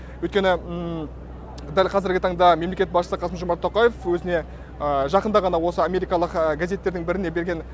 өйткені дәл қазіргі таңда мемлекет басшысы қасым жомарт тоқаев өзіне жақында ғана осы америкалық газеттердің біріне берген